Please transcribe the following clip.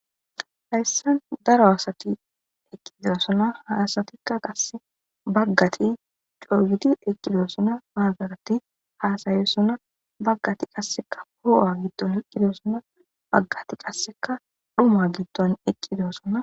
hayssan daro asati eqqidosona haasatikka qasse baggati coogidi eqqidosonna baggadati haasayosona baggati qasseka hoowa gitton eqqidossona baggati qasseka dhuma gitton eqqidosona